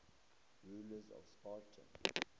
rulers of sparta